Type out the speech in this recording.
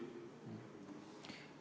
Või?